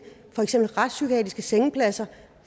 for eksempel retspsykiatriske sengepladser